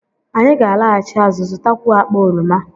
Anyị ga-alaghachi azụ, zụtakwuo akpa oroma